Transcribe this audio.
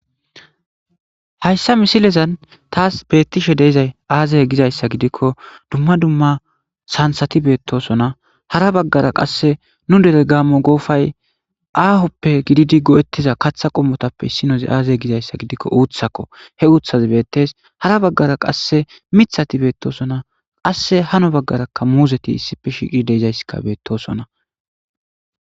Hayssa misilezan taas beettishe deizay aazay gizayssa gidikko dumma dumma sansati beettosona hara baggara qasse nu dere gaammo goofay aahoppe gididi go7ettiza katha qommotappe issinozi aazey gizayssa gidikko uuthakko he uuthazi beettes hara baggara qasse mithati beettosona qasse hano baggaraka muuzeti issife shiiqi deizayssika beettosona.